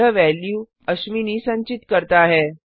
यह वैल्यू अश्विनी संचित करता है